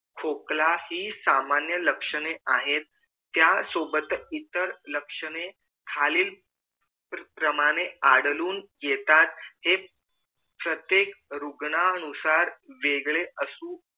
खोकला हि सामान्य लक्षणे आहेत त्यासोबत इतर लक्षणे खालील प्रमाणे आढळून येतात हे प्रत्येक रुग्ण नुसार वेगळे असू